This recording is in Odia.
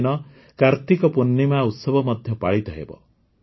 ଏହିଦିନ କାର୍ତ୍ତିକ ପୂର୍ଣ୍ଣିମା ଉତ୍ସବ ମଧ୍ୟ ପାଳିତ ହେବ